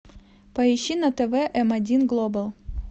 поищи на тв эм один глобал